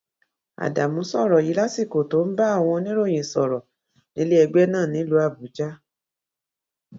ádámù sọrọ yìí lásìkò tó ń bá àwọn oníròyìn sọrọ nílé ẹgbẹ náà nílùú àbújá